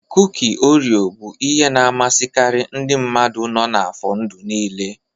Kuki Oreo bụ ihe na-amasịkarị ndị mmadụ nọ n'afọ ndụ niile.